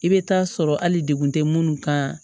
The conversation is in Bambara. I bɛ taa sɔrɔ hali degun tɛ munnu kan